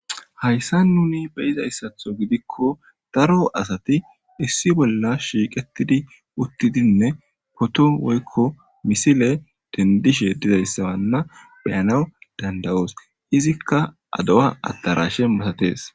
Haysan nuni be'izayisaththo giddiko daro asati issi bolla shiqqettidi uththidinne potto woyikko misile denidishshe dizaysanne be'anawu danida'os izzikka aduwa adarashe masaththes.